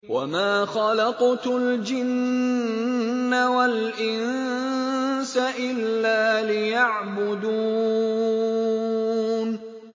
وَمَا خَلَقْتُ الْجِنَّ وَالْإِنسَ إِلَّا لِيَعْبُدُونِ